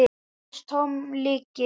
LÁRUS: Tóm lygi!